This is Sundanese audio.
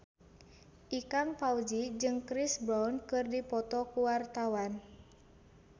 Ikang Fawzi jeung Chris Brown keur dipoto ku wartawan